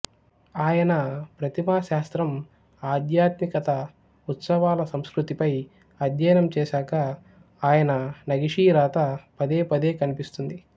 ఆయన ప్రతిమా శాస్త్రం ఆధ్యాత్మికత ఉత్సవాల సంస్కృతిపై అధ్యయనం చేసాక ఆయన నగిషీరాత పదే పదే కనిపిస్తుంది